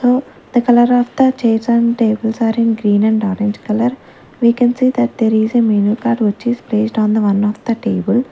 uh the colour of the chairs and tables are in green and orange colour we can see that there is a menu card which is placed on the one of the table.